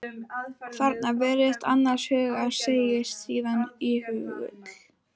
Þagnar, virðist annars hugar, segir síðan íhugul